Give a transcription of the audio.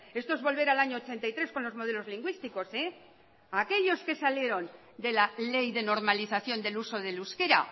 esto es volver al año ochenta y tres con los modelos lingüísticos aquellos que salieron de la ley de normalización del uso del euskera